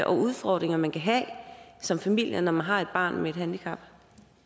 udfordringer man kan have som familie når man har et barn med et handicap